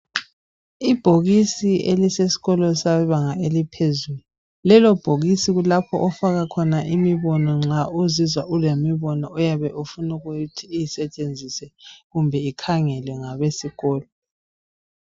Ibhokisi elisesikolo sebanga eliphezulu. Lelobhokisi kulapho ofaka khona imibona nxa uzizwa ulemibono oyabe ofuna ukuthi isetshenziswe kumbe ikhangelwe ngabesikolo.